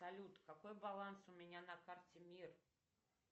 салют какой баланс у меня на карте мир